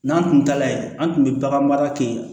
N'an kun taala yen an tun bɛ bagan mara kɛ